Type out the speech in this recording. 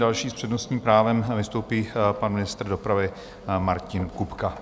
Další s přednostním právem vystoupí pan ministr dopravy Martin Kupka.